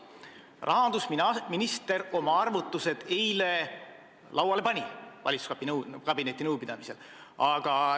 Rahandusminister pani oma arvutused eile valitsuskabineti nõupidamisel lauale.